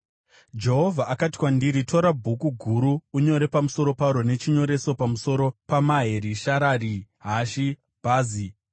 Jehovha akati kwandiri, “Tora bhuku guru unyore pamusoro paro nechinyoreso: pamusoro paMaheri-Sharari-Hashi-Bhazi.